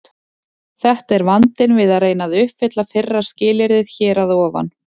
Þetta er vandinn við að reyna að uppfylla fyrra skilyrðið hér að ofan.